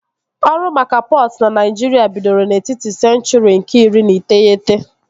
Ọrụ maka pọtụ na Naịjirịa bidoro n'etiti senchụri nke iri na iteghete